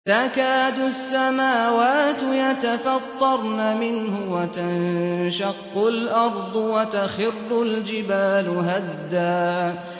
تَكَادُ السَّمَاوَاتُ يَتَفَطَّرْنَ مِنْهُ وَتَنشَقُّ الْأَرْضُ وَتَخِرُّ الْجِبَالُ هَدًّا